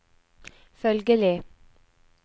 følgelig